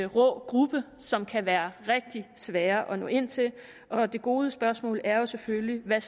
rå gruppe som det kan være rigtig svært at nå ind til og det gode spørgsmål er selvfølgelig hvad